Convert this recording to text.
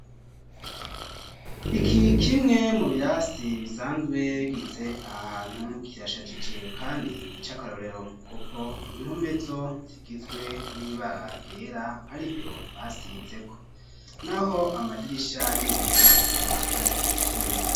Iki kimwe mu birasi bisanzwe bigitse ahantu kirashagije kandi ni c'akarorero kuko impome zo zigizwe n'ibaragera ariryo basizeko n'aho amadirisha n'ibiyo akaba ari ivyuma.